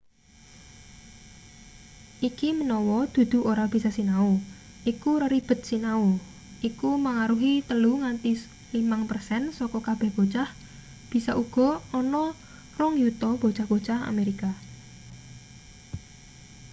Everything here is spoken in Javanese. iki menawa dudu ora bisa sinau iku reribed sinau iku mangaruhi 3 nganti 5 persen saka kabeh bocah bisa uga ana 2 yuta bocah-bocah amerika